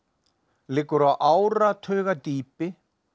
liggur á áratuga dýpi